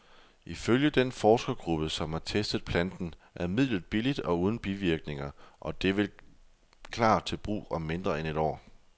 Ifølge den forskergruppe, som har testet planten, er midlet billigt og uden bivirkninger, og det vil klar til brug om mindre end et år.